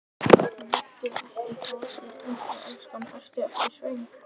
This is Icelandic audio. Viltu ekki fá þér eitthvað, elskan, ertu ekki svöng?